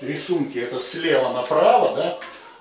рисунки это с лева на право да